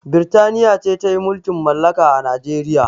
Birtania ce ta yi mulkin malaka a Nijeriya